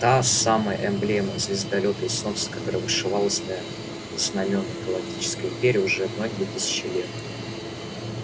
та самая эмблема звездолёта и солнца которая вышивалась на знамёнах галактической империи уже многие тысячи лет